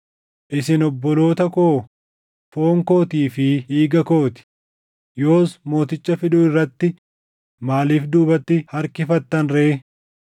Isin obboloota koo, foon kootii fi dhiiga koo ti; yoos mooticha fiduu irratti maaliif duubatti harkifattan ree?’